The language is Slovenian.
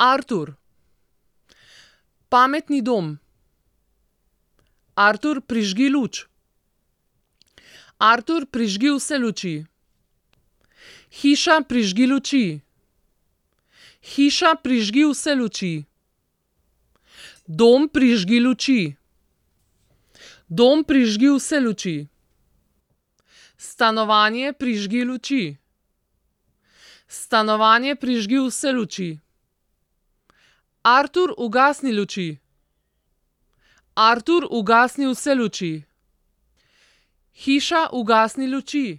Artur. Pametni dom. Artur, prižgi luč. Artur, prižgi vse luči. Hiša, prižgi luči. Hiša, prižgi vse luči. Dom, prižgi luči. Dom, prižgi vse luči. Stanovanje, prižgi luči. Stanovanje, prižgi vse luči. Artur, ugasni luči. Artur, ugasni vse luči. Hiša, ugasni luči.